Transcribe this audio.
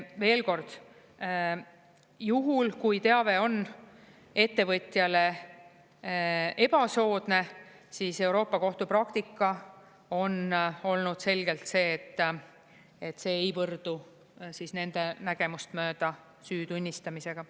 Veel kord: juhul, kui teave on ettevõtjale ebasoodne, siis Euroopa Kohtu praktika on olnud selgelt see, et see ei võrdu nende nägemust mööda süü tunnistamisega.